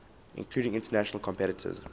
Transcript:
including international competitors